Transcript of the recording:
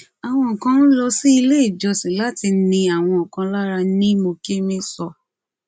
àwọn kan ń lọ sí ilé ìjọsìn láti ni àwọn kan lára ní mokeme sọ